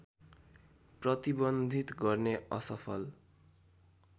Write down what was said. प्रतिबन्धित गर्ने असफल